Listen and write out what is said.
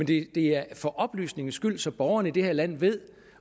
det er for oplysningens skyld så borgerne i det her land ved